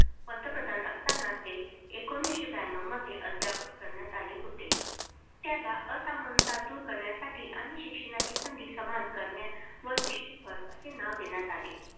पंतप्रधान असताना ते एकोणविशे ब्याण्णव मध्ये अद्ययावत करण्यात आले होते. त्याला असमानता दूर करण्यासाठी आणि शिक्षणाची संधी समान करण्यावर विशेष भर असे नाव देण्यात आले.